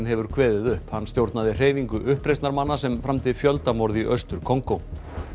hefur kveðið upp hann stjórnaði hreyfingu uppreisnarmanna sem framdi fjöldamorð í Austur Kongó